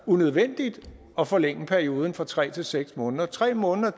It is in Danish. unødvendigt at forlænge perioden fra tre til seks måneder tre måneder